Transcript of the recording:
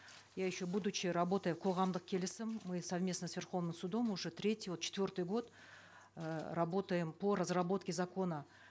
я еще работая в қоғамдық келісім мы совместно с верховным судом уже третий вот четвертый год э работаем по разработке закона